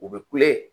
U bɛ kule